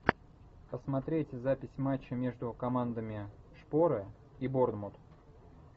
посмотреть запись матча между командами шпоры и борнмут